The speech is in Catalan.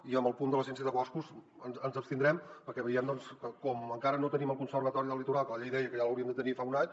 i en el punt de l’agència de boscos ens abstindrem perquè veiem que com que encara no tenim el conservatori del litoral que la llei deia que ja l’hauríem de tenir fa un any